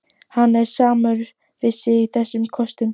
Hann er samur við sig í þessum köstum!